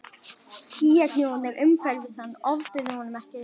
Skýjakljúfarnir umhverfis hann ofbuðu honum ekki lengur.